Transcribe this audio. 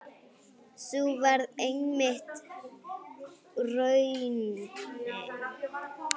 Sú varð einmitt raunin.